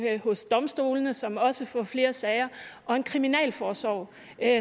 hos domstolene som også får flere sager og en kriminalforsorg